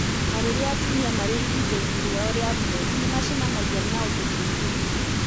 Na rĩrĩa atumia marĩ ihinda-inĩ rĩao rĩa mweri - nĩ macemanagia na ũndũ mũritũ mũno